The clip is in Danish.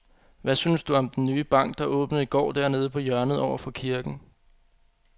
Hvad synes du om den nye bank, der åbnede i går dernede på hjørnet over for kirken?